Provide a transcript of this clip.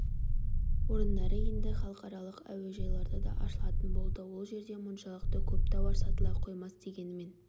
орындары енді халықаралық әуежайларда да ашылатын болды ол жерде мұншалықты көп тауар сатыла қоймас дегенмен